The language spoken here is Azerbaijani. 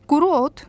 Quru ot?